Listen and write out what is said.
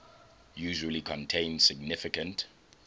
usually contain significant